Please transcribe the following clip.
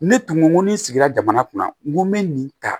Ne tun ko n ko ni sigira jamana kunna n ko n be nin ta